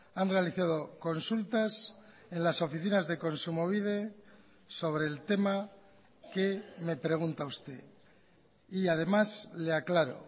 han realizado consultas en las oficinas de kontsumobide sobre el tema que me pregunta usted y además le aclaro